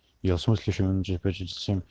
философский камень